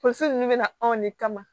Tonso nunnu be na anw de kama